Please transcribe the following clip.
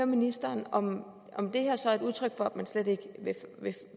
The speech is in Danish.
ministeren om det her så er et udtryk for at man slet ikke vil